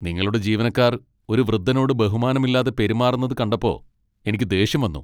നിങ്ങളുടെ ജീവനക്കാർ ഒരു വൃദ്ധനോട് ബഹുമാനമില്ലാതെ പെരുമാറുന്നത് കണ്ടപ്പോ എനിക്ക് ദേഷ്യം വന്നു.